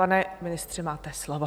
Pane ministře, máte slovo.